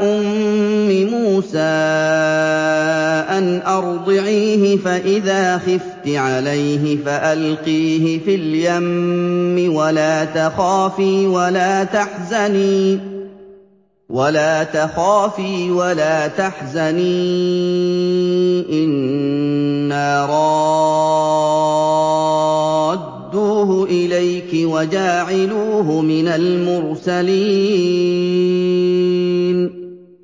أُمِّ مُوسَىٰ أَنْ أَرْضِعِيهِ ۖ فَإِذَا خِفْتِ عَلَيْهِ فَأَلْقِيهِ فِي الْيَمِّ وَلَا تَخَافِي وَلَا تَحْزَنِي ۖ إِنَّا رَادُّوهُ إِلَيْكِ وَجَاعِلُوهُ مِنَ الْمُرْسَلِينَ